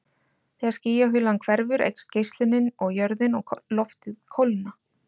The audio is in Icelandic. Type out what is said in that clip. Þegar skýjahulan hverfur eykst geislunin og jörðin og loftið kólna.